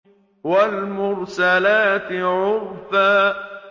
وَالْمُرْسَلَاتِ عُرْفًا